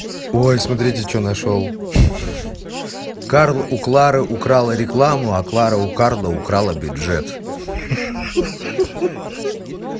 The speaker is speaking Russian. ой смотрите что нашёл карл у клары украл рекламу а клара у карла украла бюджет ха-ха